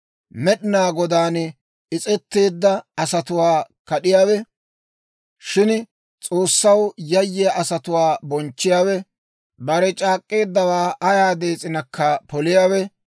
Med'inaa Godaan is's'etteedda asatuwaa kad'iyaawe, Shin S'oossaw yayyiyaa asatuwaa bonchchiyaawe, bare c'aak'k'eeddawaa ayaa dees'inakka poliyaawe,